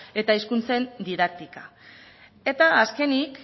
eta hizkuntzen didaktika eta azkenik